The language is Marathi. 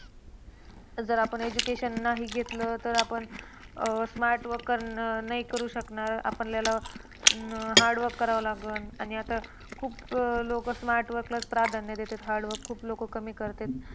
जर आपण education नाही घेतलं तर, आपण अं smart work कर नाही करू शकणार. आपल्याला अह hard work करावं लागल आणि आता खूप लोक smart work लाच प्राधान्य देतात. Hardwork खूप लोक कमी करत्यात.